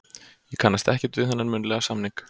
Ég kannast ekkert við þennan munnlega samning.